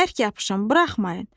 Bərk yapışın, buraxmayın.